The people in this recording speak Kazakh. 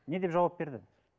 не деп жауап берді